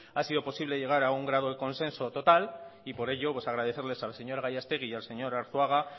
ha sido posible llegar a un grado de consenso total y por ello agradecer a la señora gallastegui y al señor arzuaga